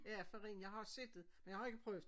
Ja farin jeg har set det men jeg har ikke prøvet